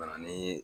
Ka na ni